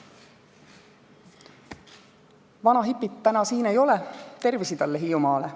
" Vana hipit täna siin ei ole, tervisi talle Hiiumaale.